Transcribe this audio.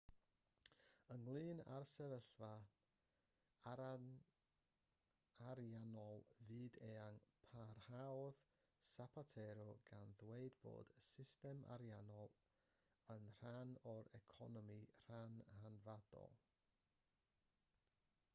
ynglŷn â'r sefyllfa ariannol fyd-eang parhaodd zapatero gan ddweud bod y system ariannol yn rhan o'r economi rhan hanfodol